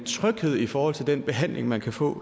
tryghed i forhold til den behandling man kan få